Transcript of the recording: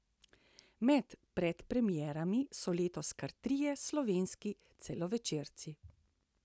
Med predpremierami so letos kar trije slovenski celovečerci.